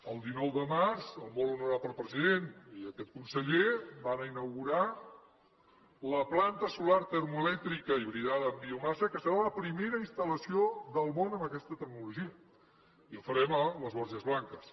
el dinou de març el molt honorable president i aquest conseller van a inaugurar la planta solar termoelèctrica hibridada amb biomassa que serà la primera instal·lació del món amb aquesta tecnologia i ho farem a les borges blanques